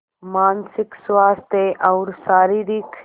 मानसिक स्वास्थ्य और शारीरिक स्